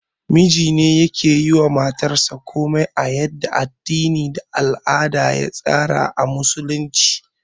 Mijine yake yiwa matayansa komai a yadda addini da al'ada ya tsara a Musulunci